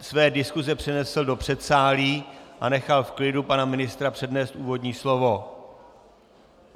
své diskuse přenesl do předsálí a nechal v klidu pana ministra přednést úvodní slovo.